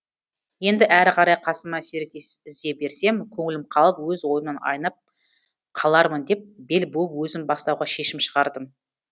енді әрі қарай қасыма серіктес іздей берсем көңілім қалып өз ойымнан айнып қалармын деп бел буып өзім бастауға шешім шығардым